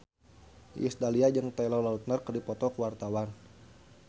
Iis Dahlia jeung Taylor Lautner keur dipoto ku wartawan